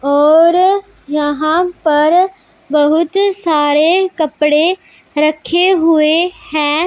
और यहां पर बहुत सारे कपड़े रखे हुए है।